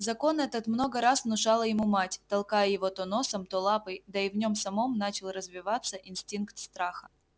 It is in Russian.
закон этот много раз внушала ему мать толкая его то носом то лапой да и в нём самом начинал развиваться инстинкт страха